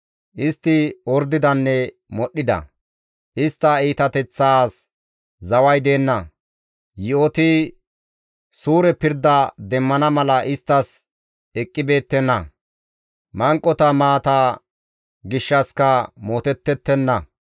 Istti ordidanne modhdhida; istta iitateththaas zaway deenna. Yi7oti suure pirda demmana mala isttas eqqibeettenna; manqota maata gishshassika mootettettenna.